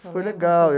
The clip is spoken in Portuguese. Foi legal.